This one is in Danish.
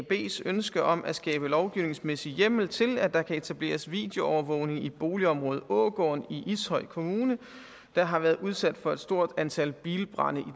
ønske om at skabe lovgivningsmæssig hjemmel til at der kan etableres videoovervågning i boligområdet ågården i ishøj kommune der har været udsat for et stort antal bilbrande i